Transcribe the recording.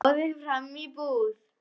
Hann gáði fram í búð.